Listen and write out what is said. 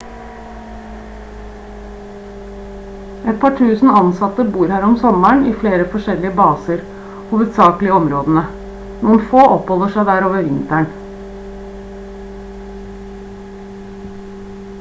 et par tusen ansatte bor her om sommeren i flere forskjellige baser hovedsakelig i områdene noen få oppholder seg der over vinteren